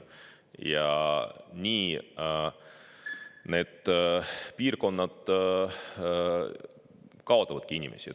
Ja nii need piirkonnad kaotavadki inimesi.